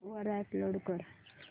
वर अपलोड कर